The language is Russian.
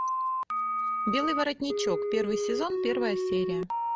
белый воротничок первый сезон первая серия